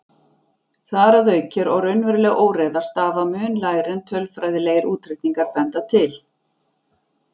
Þar að auki er raunveruleg óreiða stafa mun lægri en tölfræðilegir útreikningar benda til.